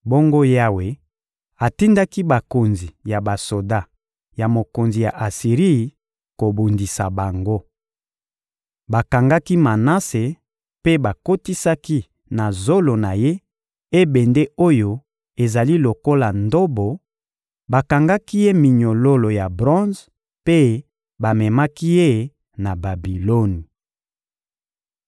Bongo Yawe atindaki bakonzi ya basoda ya mokonzi ya Asiri kobundisa bango. Bakangaki Manase mpe bakotisaki na zolo na ye ebende oyo ezali lokola ndobo, bakangaki ye minyololo ya bronze mpe bamemaki ye na Babiloni.